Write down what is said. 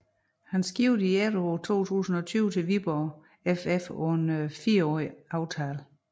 Han skiftede i efteråret 2020 til Viborg FF på en fireårig aftale